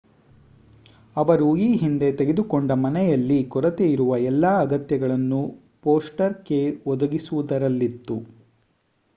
ಅವರು ಈ ಹಿಂದೆ ತೆಗೆದುಕೊಂಡ ಮನೆಯಲ್ಲಿ ಕೊರತೆಯಿರುವ ಎಲ್ಲಾ ಅಗತ್ಯಗಳನ್ನು ಫೋಸ್ಟರ್ ಕೇರ್ ಒದಗಿಸುವುದರಲ್ಲಿತ್ತು